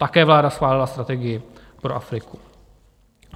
Také vláda schválila strategii pro Afriku.